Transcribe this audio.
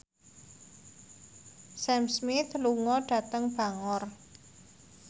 Sam Smith lunga dhateng Bangor